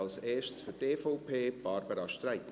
Zuerst für die EVP, Barbara Streit.